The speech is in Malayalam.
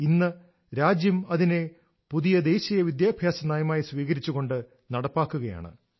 ഇന്ന് രാജ്യം അതിനെ പുതിയ ദേശീയ വിദ്യാഭ്യാസ നയമായി സ്വീകരിച്ചുകൊണ്ട് നടപ്പാക്കുകയാണ്